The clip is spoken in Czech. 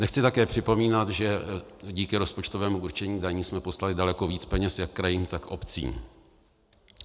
Nechci také připomínat, že díky rozpočtovému určení daní jsme poslali daleko víc peněz jak krajům, tak obcím.